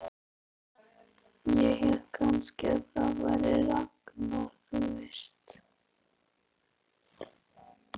Ég hélt kannski að það væri Ragnar, þú veist.